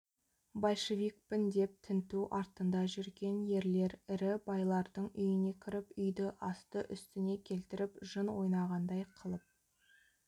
большевикпін деп тінту артында жүрген ерлер ірі байлардың үйіне кіріп үйді асты-үстіне келтіріп жын ойнағандай қылып